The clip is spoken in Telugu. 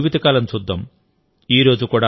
ఆయన చిన్న జీవిత కాలం చూద్దాం